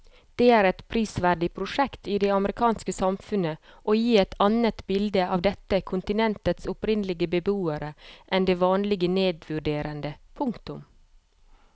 Det er et prisverdig prosjekt i det amerikanske samfunnet å gi et annet bilde av dette kontinentets opprinnelige beboere enn det vanlige nedvurderende. punktum